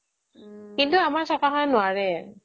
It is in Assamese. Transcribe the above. কিন্তু আমাৰ চৰকাৰখনে নোৱাৰে